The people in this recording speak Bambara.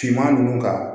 Finman ninnu ka